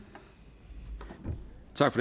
tak